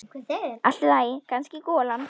Allt í lagi, kannski golan.